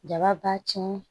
Jaba tiɲɛn